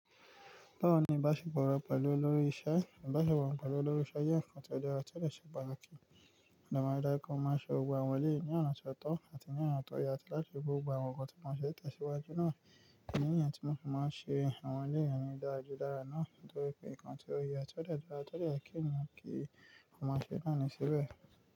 Báwo ni ìbáṣepọ̀ ọ̀rọ̀ pẹ̀lú olórí iṣẹ́? Ìbáṣepọ̀ ọ̀rọ̀ pẹ̀lú olórí iṣẹ́ jẹ́ ǹkan tó jẹ́ ọ̀tọ̀ọ̀tọ̀ níṣe ìgbálẹ̀ kí ọ̀nà màrùda kan máa ṣe gbogbo àwọn ilé ní ọ̀nà tó ọ́tọ́ àti ní ọ̀nà tó yà tí láti fi gbogbo àwọn nǹkan tí wọ́n fẹ́ tẹ̀síwájú náà. Kí ni ǹkan tí wọ́n fẹ́ máa ṣe àwọn ilé ìyàgbẹ́ àjọdáràn náà? Nítorí pé ǹkan tí ó ye tí ó jẹ́ ọ̀tọ̀ọ̀tọ̀ jẹ́ kí èèyàn kí àwọn aṣẹ náà ní ìṣe bẹ́ẹ̀